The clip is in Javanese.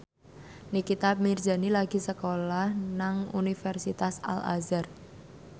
Nikita Mirzani lagi sekolah nang Universitas Al Azhar